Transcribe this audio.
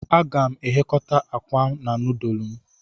Aga m eghekota akwa na nudulu m